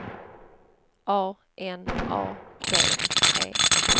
A N A D E